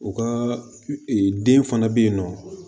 U ka den fana bɛ yen nɔ